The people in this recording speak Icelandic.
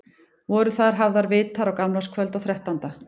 Voru þar hafðir vitar á gamlárskvöld og þrettánda.